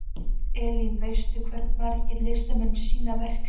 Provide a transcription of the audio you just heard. Elín, veistu hversu margir listamenn sýna verk sín?